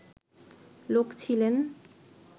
লোক ছিলেন